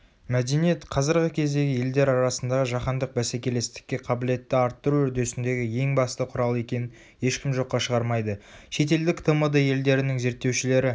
мәдениет қазіргі кездегі елдер арасындағы жаһандық бәсекелестікке қабілетті арттыру үрдісіндегі ең басты құрал екенін ешкім жоққа шығармайды.шетелдік тмд елдерінің зерттеушілері